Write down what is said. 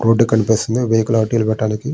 Road కనిపిస్తుంది vehicle అటు పెట్టడానికి.